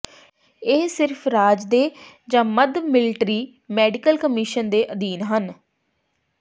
ਇਹ ਸਿਰਫ ਰਾਜ ਦੇ ਜ ਮੱਧ ਮਿਲਟਰੀ ਮੈਡੀਕਲ ਕਮਿਸ਼ਨ ਦੇ ਅਧੀਨ ਹੈ